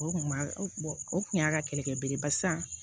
O kun b'a o kun y'a ka kɛlɛkɛ belebeleba ye